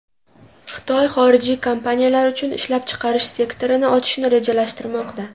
Xitoy xorijiy kompaniyalar uchun ishlab chiqarish sektorini ochishni rejalashtirmoqda.